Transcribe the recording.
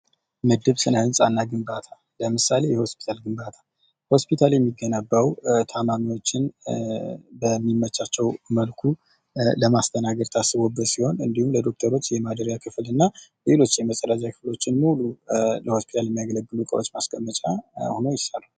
ምድብ ስነ ህንፃ እና ግንባታ ለምሳሌ የሆስፒታል ግንባታ ሆስፒታል የሚገነባው ታማሚዎችን በሚመቻቸው መልኩ ለማስተናገድ ታስቦበት ሲሆን እንዲሁም ለዶክተሮች ለማደሪያ ክፍል እና ሌሎች የመፀዳጃ ክፍሎችን ሙሉ ለሆስፒታል የሚያገለግሉ እቃዎች ማስቀመጫ ሆኖ ይሰራል::